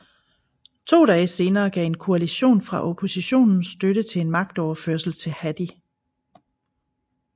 To dage senere gav en koalition fra oppositionen støtte til en magtoverførsel til Hadi